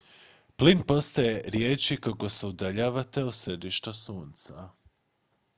plin postaje rijeđi kako se udaljavate od središta sunca